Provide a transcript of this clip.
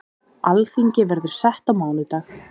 Alþingi verður sett á mánudag.